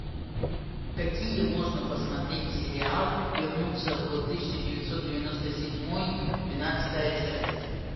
какие можно посмотреть сериал вернуться в тысяча девятьсот девяносто седьмой двенадцатая часть